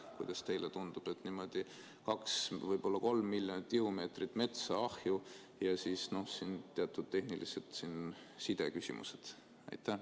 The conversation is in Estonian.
Kuidas teile tundub: kaks, võib-olla kolm miljonit tihumeetrit metsa ahju versus teatud tehnilised sideküsimused?